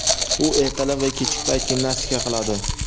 U ertalab va kechki payt gimnastika qiladi.